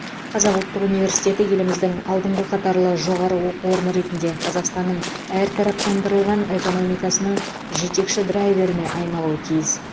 қазақ ұлттық университеті еліміздің алдыңғы қатарлы жоғары оқу орны ретінде қазақстанның әртараптандырылған экономикасының жетекші драйверіне айналуы тиіс